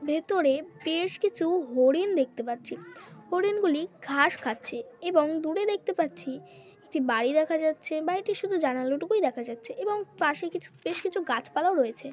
ভেতরে বেশ কিছু হরিণ দেখতে পাচ্ছি। হরিণ গুলি ঘাস খাচ্ছে এবং দূরে দেখতে পাচ্ছি একটি বাড়ি দেখা যাচ্ছে। বাড়িতে শুধু জানালা টুকুই দেখা যাচ্ছে এবং পাশে কিছু বেশ কিছু গাছপালাও রয়েছে।